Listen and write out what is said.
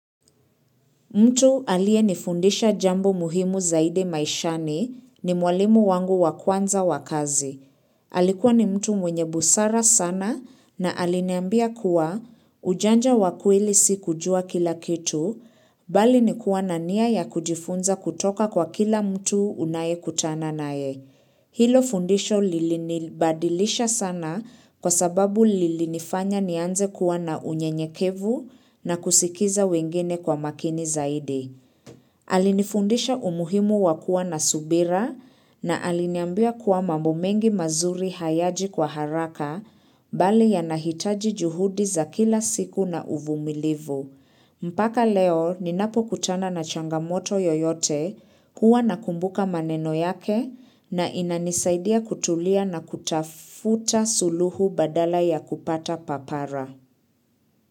Mtu aliyenifundisha jambo muhimu zaidi maishani ni mwalimu wangu wa kwanza wa kazi. Alikuwa ni mtu mwenye busara sana na aliniambia kuwa ujanja wa kweli si kujua kila kitu, bali ni kua na nia ya kujifunza kutoka kwa kila mtu unayekutana nae. Hilo fundisho lilinibadilisha sana kwa sababu lilinifanya nianze kuwa na unyenyekevu na kusikiza wengine kwa makini zaidi. Alinifundisha umuhimu wa kua na subira na aliniambia kuwa mambo mengi mazuri hayaji kwa haraka bali yanahitaji juhudi za kila siku na uvumilivu. Mpaka leo ninapokutana na changamoto yoyote huwa nakumbuka maneno yake na inanisaidia kutulia na kutafuta suluhu badala ya kupata papara.